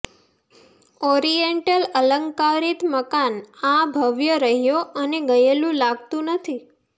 oriental અલંકારીત મકાન આ ભવ્ય રહ્યો અને ગયેલું લાગતું નથી